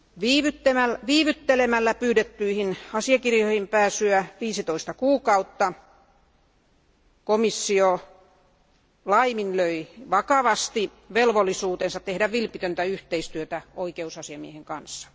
Viivyttämällä pyydettyjen asiakirjojen antamista 15 kuukautta komissio laiminlöi vakavasti velvollisuutensa tehdä vilpitöntä yhteistyötä oikeusasiamiehen kanssa.